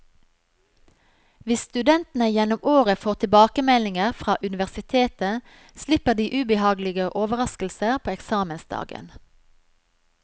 Hvis studentene gjennom året får tilbakemeldinger fra universitetet, slipper de ubehagelige overrasker på eksamensdagen.